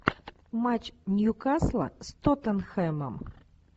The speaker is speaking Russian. матч ньюкасла с тоттенхэмом